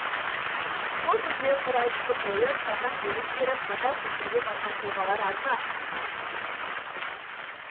сол кезде құр айтысты қойып қатаң бұйрық беріп қатал шешімге барған тұлғалар аз ба